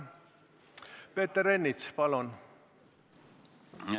Peeter Ernits, palun!